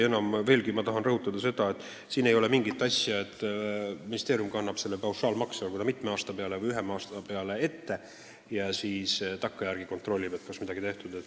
Tahan veel kord rõhutada, et asi ei käi nii, et ministeerium kannab selle raha ühe või mitme aasta peale ette ära ja siis takkajärele kontrollib, kas midagi on tehtud.